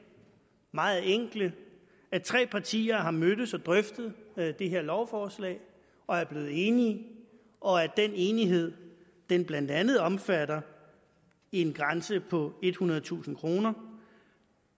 meget enkle at tre partier har mødtes og drøftet det her lovforslag og er blevet enige og at den enighed blandt andet omfatter en grænse på ethundredetusind kroner